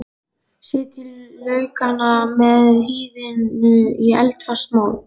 Setjið laukana með hýðinu í eldfast mót.